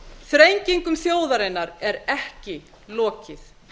þrengingum þjóðarinnar er ekki lokið